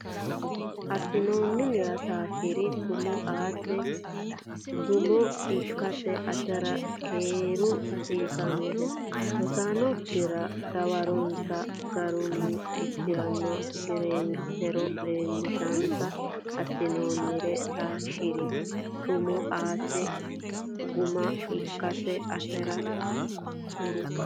Assinoonnirira taashshi ri tumo aate gumaamo ikkate atera kuriuu hasiisannohe Rosaanokkira dawaronsa garunniteronna gariweelotero leellishinsa Assinoonnirira taashshi ri tumo aate gumaamo ikkate atera kuriuu.